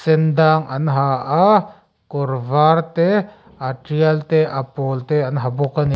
sen dang an ha a kawr var te a tial te pawl te an ha bawk a ni.